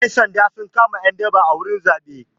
Ƴan sanda sun kama ƴan daba a wurin zaɓe.